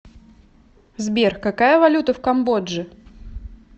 сбер какая валюта в камбодже